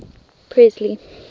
presley